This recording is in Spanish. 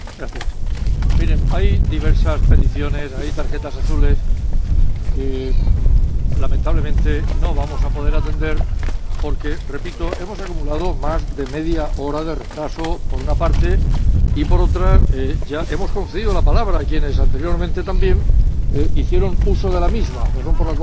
Miren, hay diversas peticiones, hay tarjetas azules que, lamentablemente, no vamos a poder atender porque ―repito― hemos acumulado más de media hora de retraso, por una parte, y, por otra, ya hemos concedido la palabra a quienes anteriormente hicieron uso de la misma, razón por la cual, en